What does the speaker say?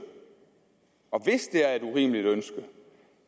og hvis det er et urimeligt ønske